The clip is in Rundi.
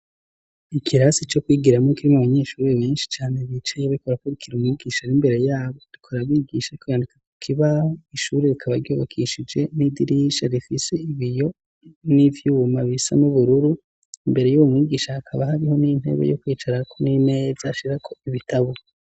Ikirasi cyo kwigira mo kirimwo abanyeshuri benshi cane bicaye bikorakurikira umubgisha ri imbere yabo bikora bigisha kwandika ku kibaho ishuri rikaba ryubakishije n'idirisha rifise ibiyo n'ivyubuma bisa n ubururu imbere y'ubu mibgisha hakaba hariho n'intebe yo kwicara ko n'ineza ashira ko ibitabo.